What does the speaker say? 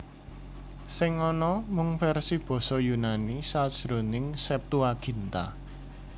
Sing ana mung versi basa Yunani sajroning Septuaginta